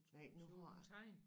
Nej nu har jeg